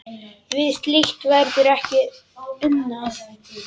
Við slíkt verður ekki unað.